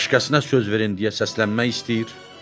Başqasına söz verin deyə səslənmək istəyir.